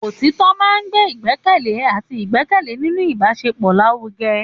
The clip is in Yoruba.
Òtítọ́ máa ń gbé ìgbẹ́kẹ̀lé àti ìgbẹ́kẹ̀lé nínú ìbáṣepọ̀ lárugẹ.